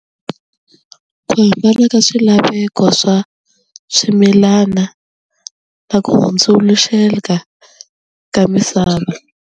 Ku hambana ka swilaveko swa swimilana na ku hundzuluxeka ka misava.